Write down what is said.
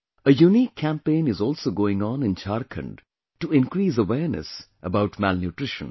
A unique campaign is also going on in Jharkhand to increase awareness about malnutrition